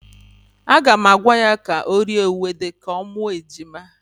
Aga m agwa ya ka o rie ewedu ka ọ mụọ ejima.